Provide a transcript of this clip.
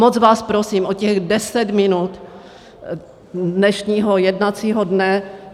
Moc vás prosím o těch 10 minut dnešního jednacího dne.